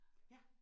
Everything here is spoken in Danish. Ja